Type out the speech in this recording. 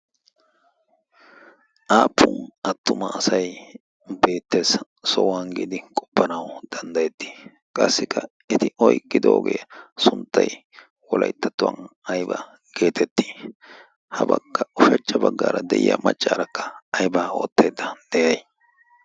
aappun attuma asai beettees. sohuwan giidi qoppanau danddayettii? qassikka eti oigidoogee sunttai wolaittattuwan aiba geetettii habaakka ushachcha baggaara de'iya maccaarakka aibaa ootteedda de'ay